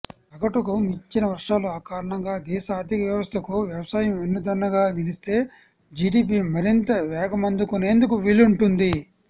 సగటుకు మించిన వర్షాల కారణంగా దేశ ఆర్థిక వ్యవస్థకు వ్యవసాయం వెన్నుదన్నుగా నిలిస్తే జీడీపీ మరింత వేగమందుకునేందుకు వీలుంటుంది